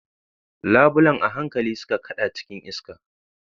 Labulen a hankali suka kada cikin iska.